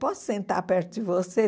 Posso sentar perto de você?